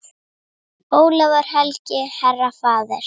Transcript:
Ólafur helgi, herra, faðir.